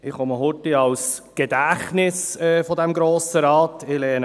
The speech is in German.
Ich bin kurz das Gedächtnis dieses Grossen Rates.